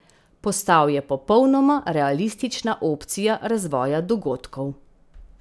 Postal je popolnoma realistična opcija razvoja dogodkov.